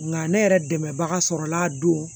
Nka ne yɛrɛ dɛmɛbaga sɔrɔla a don